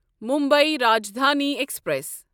Mumbai Rajdhani express